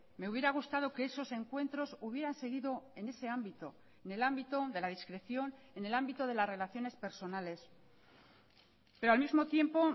me hubiera gustado que esos encuentros hubieran seguido en ese ámbito en el ámbito de la discreción en el ámbito de las relaciones personales pero al mismo tiempo